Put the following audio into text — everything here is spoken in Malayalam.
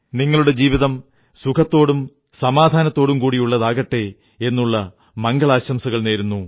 നിങ്ങളുടെ ജീവിതം സുഖത്തോടും സമാധാനത്തോടും കൂടിയുള്ളതാകട്ടെ എന്നുള്ള മംഗളാശംസകളേകുന്നു